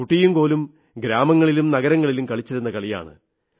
കുട്ടിയും കോലും ഗ്രാമങ്ങളിലും നഗരങ്ങളിലും കളിച്ചിരുന്ന കളിയാണ്